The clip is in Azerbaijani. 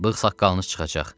Bığ-saqqalınız çıxacaq.